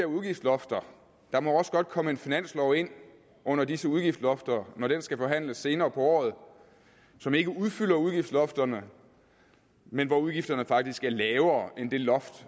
udgiftslofter der må også godt komme en finanslov ind under disse udgiftslofter når den skal forhandles senere på året som ikke udfylder udgiftslofterne men hvor udgifterne faktisk er lavere end det loft